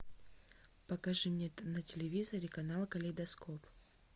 покажи мне на телевизоре канал калейдоскоп